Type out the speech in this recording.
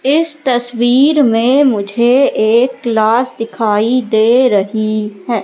इस तस्वीर में मुझे एक क्लास दिखाई दे रही है।